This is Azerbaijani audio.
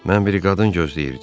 Mən bir qadın gözləyirdim.